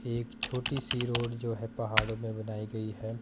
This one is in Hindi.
एक छोटी सी रोड जो है पहाड़ों में बनाई गई है।